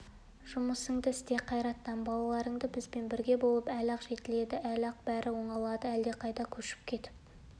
жұмысыңды істе қайраттан балаларың бізбен бірге болып әлі-ақ жетіледі әлі-ақ бәрі де оңалады әлдеқайда көшіп кетіп